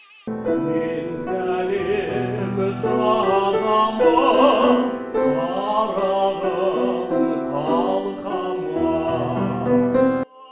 мен сәлем жазамын қарағым қалқам ай